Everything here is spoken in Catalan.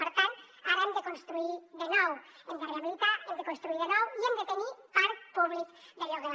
per tant ara hem de construir de nou hem de rehabilitar hem de construir de nou i hem de tenir parc públic de lloguer